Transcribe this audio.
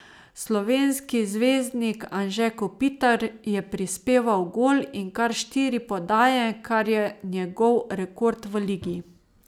Slovenski zvezdnik Anže Kopitar je prispeval gol in kar štiri podaje, kar je njegov rekord v ligi.